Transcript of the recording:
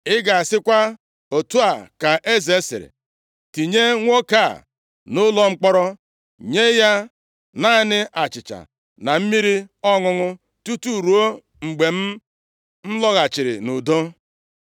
Ị ga-asịkwa, ‘Otu a ka eze sịrị: Tinye nwoke a nʼụlọ mkpọrọ, nye ya naanị achịcha na mmiri ọṅụṅụ tutu ruo mgbe m lọghachiri nʼudo.’ ”